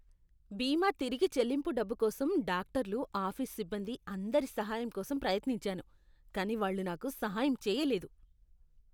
బీమా తిరిగి చెల్లింపు డబ్బు కోసం డాక్టర్లు, ఆఫీస్ సిబ్బంది అందరి సహాయం కోసం ప్రయత్నించాను. కానీ వాళ్ళు నాకు సహాయం చేయలేదు.